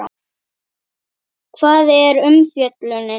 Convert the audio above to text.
Hvar er umfjöllunin?